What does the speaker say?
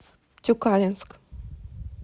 тюкалинск